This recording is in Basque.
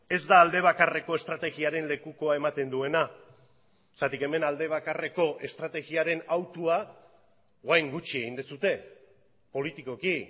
ez da alde bakarreko estrategiaren lekukoa ematen duena zergatik hemen alde bakarreko estrategiaren hautua orain gutxi egin duzue politikoki